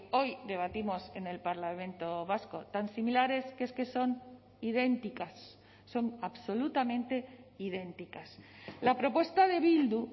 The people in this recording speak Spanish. hoy debatimos en el parlamento vasco tan similares que es que son idénticas son absolutamente idénticas la propuesta de bildu